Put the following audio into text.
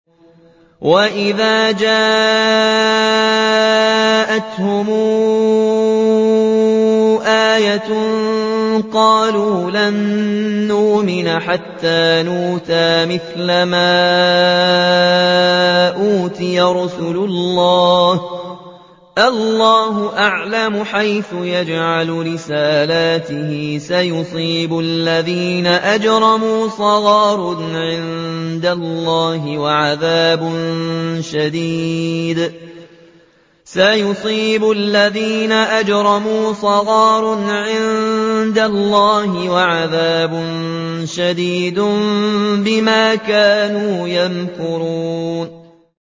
وَإِذَا جَاءَتْهُمْ آيَةٌ قَالُوا لَن نُّؤْمِنَ حَتَّىٰ نُؤْتَىٰ مِثْلَ مَا أُوتِيَ رُسُلُ اللَّهِ ۘ اللَّهُ أَعْلَمُ حَيْثُ يَجْعَلُ رِسَالَتَهُ ۗ سَيُصِيبُ الَّذِينَ أَجْرَمُوا صَغَارٌ عِندَ اللَّهِ وَعَذَابٌ شَدِيدٌ بِمَا كَانُوا يَمْكُرُونَ